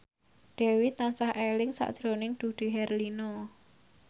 Dewi tansah eling sakjroning Dude Herlino